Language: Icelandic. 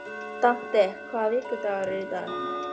Dante, hvaða vikudagur er í dag?